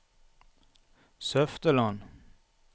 Søfteland